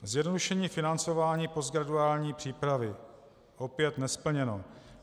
Zjednodušení financování postgraduální přípravy - opět nesplněno.